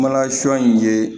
Mana sɔ in ye